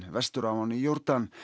vestur af ánni Jórdan